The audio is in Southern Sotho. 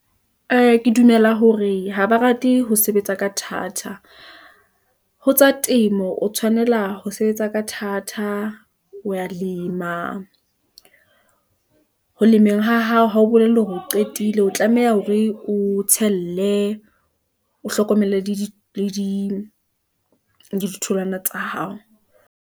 Ee, ke dumela hore ha ba rate ho sebetsa ka thata , ho tsa temo o tshwanela ho sebetsa ka thata, o ya lema ho lemeng ha hao, ha ho bolelle hore o qetile, o tlameha hore o tshelle , o hlokomele le di ditholwana tsa hao.